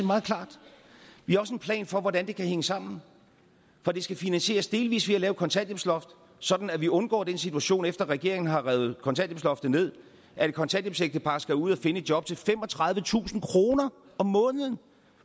meget klart vi har også en plan for hvordan det kan hænge sammen for det skal finansieres delvis ved at lave et kontanthjælpsloft sådan at vi undgår den situation efter at regeringen har revet kontanthjælpsloftet ned at et kontanthjælpsægtepar skal ud at finde et job til femogtredivetusind kroner om måneden